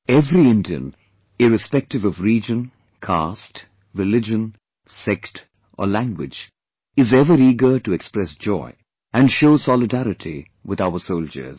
Every Indian, irrespective of region, caste, religion, sect or language, is ever eager to express joy and show solidarity with our soldiers